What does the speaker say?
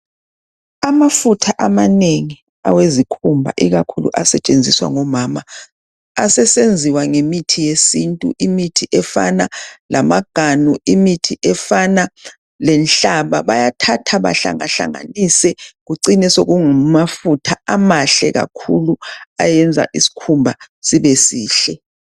Amafutha amanengi awezikhumba ikakhulu asetshenziswa ngomama asesenziwa ngemithi yesintu Imithi efana lamaganu imithi efana lenhlaba bayathatha bahlangahlanganise kucine sekungamafutha ayenza isikhumba sibe sihle.